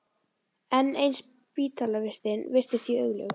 Enn ein spítalavistin virtist því augljós.